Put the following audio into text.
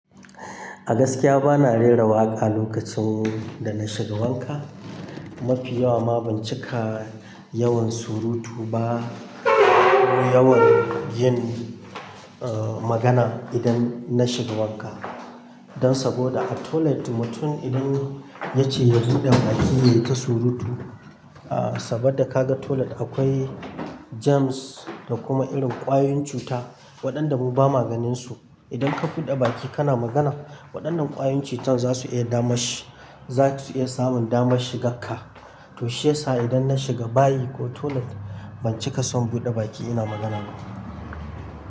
A gaskiya bana rera waƙa lokacin da na shiga wanka. Mafi yawa ma ban cika yawan surutu ba ko yawan yin, uh, magana idan na shiga wanka. Dan saboda a toilet mutum idan ya ce ya buɗe baki ya yi ta surutu, uh, saboda ka ga toilet akwai germs da kuma irin kwayoyin cuta waɗanda mu ba ma ganinsu. Idan ka buɗe baki kana magana, waɗannan kwayoyin cutan za su iya dama shi, za su iya samun dama shiga ka. To shiyasa idan na shiga bayi ko toilet ban cika son buɗe baki ina magana ba.